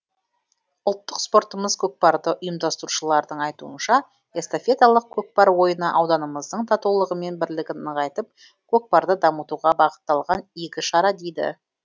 ұлттық спортымыз көкпарды ұйымдастырушылардың айтуынша эстафеталық көкпар ойыны ауданымыздың татулығымен бірлігін нығайтып көкпарды дамытуға бағытталған игі шара дейді